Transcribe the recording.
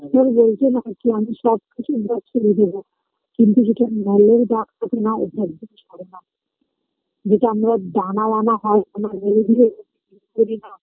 সে বলছিলাম কি আমি সব কিছু Dress করে দিবো কিন্তু যেটা সেটা নাও থাকবে যেটা আমরা ডানা বানা হয় আমরা ধীরে ধীরে